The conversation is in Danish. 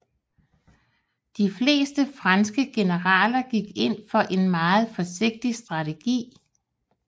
De fleste franske generaler gik ind for en meget forsigtig strategi